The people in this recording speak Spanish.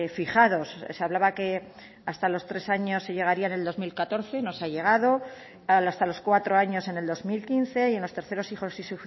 fijados se hablaba que hasta los tres años se llegaría en el dos mil catorce no se ha llegado hasta los cuatro años en el dos mil quince y en los terceros hijos y